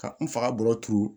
Ka n faga bolo turu